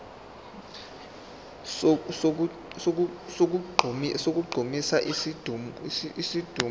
sokugqumisa isidumbu ngemithi